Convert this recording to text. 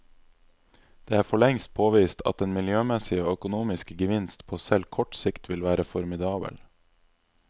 Det er forlengst påvist at den miljømessige og økonomiske gevinst på selv kort sikt vil være formidabel.